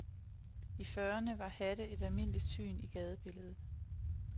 I fyrrerne var hatte et almindeligt syn i gadebilledet.